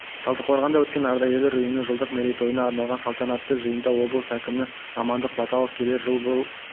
талдықорғанда өткен ардагерлер ұйымының жылдық мерейтойына арналған салтанатты жиында облысы әкімі амандық баталов келер жылы бұл